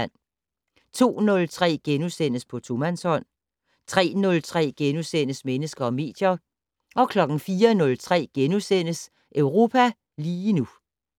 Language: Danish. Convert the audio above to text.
02:03: På tomandshånd * 03:03: Mennesker og medier * 04:03: Europa lige nu *